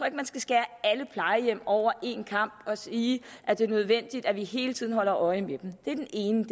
ikke man skal skære alle plejehjem over én kam og sige at det er nødvendigt at vi hele tiden holder øje med dem det er den ene